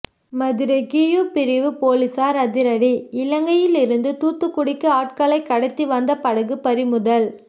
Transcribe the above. Madurai Q பிரிவு போலீசார் அதிரடி இலங்கையில் இருந்து தூத்துக்குடிக்கு ஆட்களை கடத்தி வந்த படகு பறிமுதல்